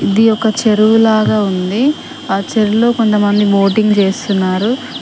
ఇది ఒక చెరువు లాగా ఉంది ఆ చెరువులో కొంతమంది బోటింగ్ చేస్తున్నారు.